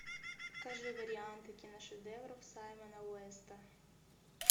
покажи варианты киношедевров саймона уэста